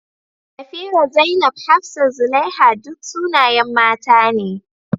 Safirah, Zainab, Hafsah, Zulaiha, duk sunayen mata ne.